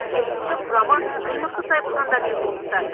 керісінше құрамы кіл мықты сайыпқырандармен толықты